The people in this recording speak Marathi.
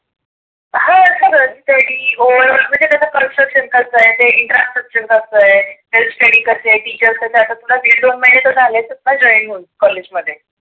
हो सगळच स्टडी त्याचा infrastructure कस आहे. health स्टडी कस आहे, टीचर्स कसे आहे, आता तुला दिड दोन महिने तर झाले असेलना join होऊन. कॉलेज मध्ये.